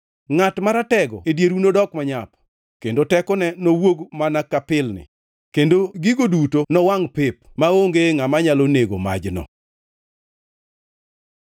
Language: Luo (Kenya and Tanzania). Ngʼat maratego e dieru nodok manyap, kendo tekone nowuog mana ka pilni, kendo gigo duto nowangʼ pep maonge ngʼama nyalo nego majno.